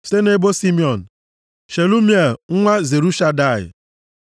site nʼebo Simiọn, Shelumiel nwa Zurishadai,